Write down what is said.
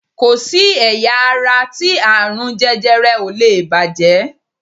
Ko si ẹ̀yà ara ti aarun jẹjẹrẹ o lee bàjẹ́